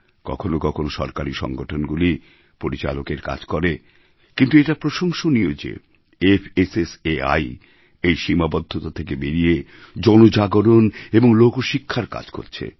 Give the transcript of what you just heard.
কখনও কখনও সরকারী সংগঠনগুলি পরিচালকের কাজ করে কিন্তু এটা প্রশংসনীয় যে ফাসাই এই সীমাবদ্ধতা থেকে বেরিয়ে জন জাগরণ এবং লোকশিক্ষার কাজ করছে